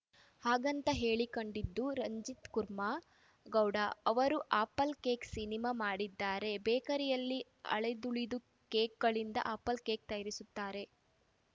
ಹಾಗಂತ ಹೇಳಿಕಂಡಿದ್ದು ರಂಜಿತ್‌ ಕುರ್ಮ ಗೌಡ ಅವರು ಆಪಲ್‌ ಕೇಕ್‌ ಸಿನಿಮಾ ಮಾಡಿದ್ದಾರೆ ಬೇಕರಿಯಲ್ಲಿ ಅಳಿದುಳಿದ ಕೇಕುಗಳಿಂದ ಆಪಲ್‌ ಕೇಕ್‌ ತಯಾರಿಸುತ್ತಾರೆ